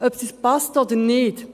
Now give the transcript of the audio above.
» Ob es uns passt oder nicht: